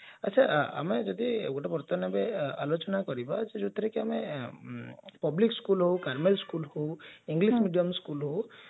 ଆଛା ଆମେ ଯଦି ଗୋଟେ ବର୍ତ୍ତମାନ ଏବେ ଆଲୋଚନା କରିବା ଯାଉଥିରେ କି ଆମେ government school ହଉ private school ହଉ English medium school ହଉ